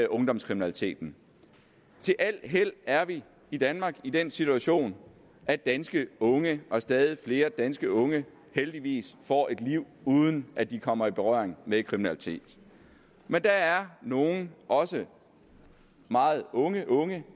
ungdomskriminaliteten til al held er vi i danmark i den situation at danske unge og stadig flere danske unge heldigvis får et liv uden at de kommer i berøring med kriminalitet men der er nogle også meget unge unge